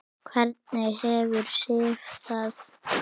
Hvernig hefur Sif það?